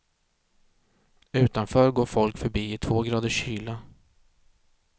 Utanför går folk förbi i två graders kyla.